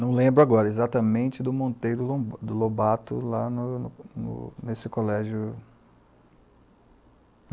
Não lembro agora, exatamente, do Monteiro Lobato, lá nesse colégio.